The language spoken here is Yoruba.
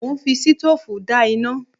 Mo ń fi sitóòfù dá iná